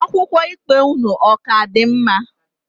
Akwụkwọ ikpe unu, ọ ka dị mma?